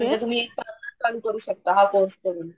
म्हणजे तुम्ही पार्लल चालू करू शकता हा कोर्स करून.